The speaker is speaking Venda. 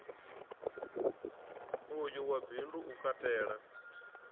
uyu wa bindu u katela